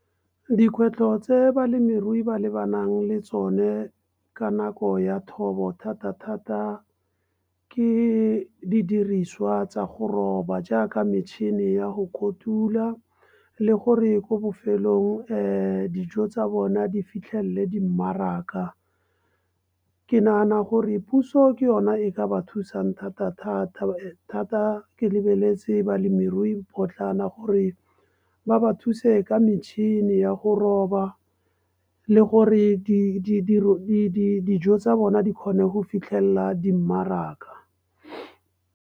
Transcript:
Dikgwetlho tse balemirui ba lebanang le tsone ka nako ya thobo, thata-thata ke didiriswa tsa go roba jaaka metšhini ya go kotula, le gore ko bofelelong dijo tsa bona di fitlhelele di mmaraka. Ke nagana gore puso ke yona e ka ba thusang thata-thata ka taba e thata ke lebeletse balemorui potlana gore ba ba thuse ka metšhini ya go roba le gore dijo tsa bona di kgone go fitlhelela di mmaraka.